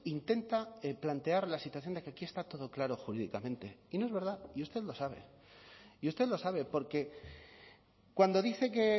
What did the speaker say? intenta plantear la situación de que aquí está todo claro jurídicamente y no es verdad y usted lo sabe y usted lo sabe porque cuando dice que